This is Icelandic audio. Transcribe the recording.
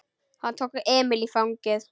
Hann tók Emil í fangið.